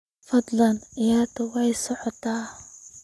fadlan ciyaarta soo socota